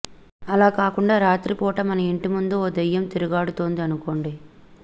అలాకాకుండా రాత్రి పూట మన ఇంటి ముందు ఓ దెయ్యం తిరుగాడుతోంది అనుకోండి